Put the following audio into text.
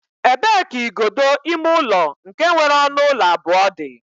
E bee ka igodo ime ụlọ nke nwere ọnụ ụlọ abụọ dị?